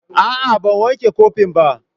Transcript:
A'a, ban wanke kopin ba.